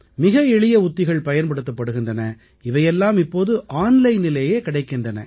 மிக எளிய உத்திகள் பயன்படுத்தப் படுகின்றன இவையெல்லாம் இப்போது ஆன்லைனிலேயே கிடைக்கின்றன